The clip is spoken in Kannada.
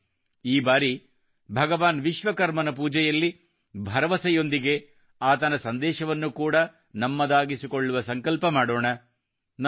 ಬನ್ನಿ ಈ ಬಾರಿ ಭಗವಾನ್ ವಿಶ್ವಕರ್ಮನಪೂಜೆಯಲ್ಲಿಭರವಸೆಯೊಂದಿಗೆ ಆತನ ಸಂದೇಶವನ್ನು ಕೂಡಾ ನಮ್ಮದಾಗಿಸಿಕೊಳ್ಳುವ ಸಂಕಲ್ಪ ಮಾಡೋಣ